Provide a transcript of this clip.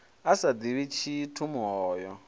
a sa ḓivhi tshithu muhoyo